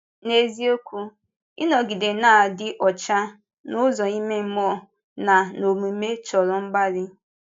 N’eziokwu, ịnọgide na-adị ọcha n’ụzọ ime mmụọ na n’omume chọ̀rọ mgbalị.